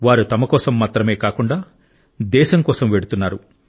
వారు తమ కోసం మాత్రమే కాకుండా దేశం కోసం వెళుతున్నారు